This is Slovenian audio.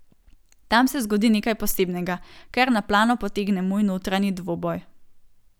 Tam se zgodi nekaj posebnega, kar na plano potegne moj notranji dvoboj.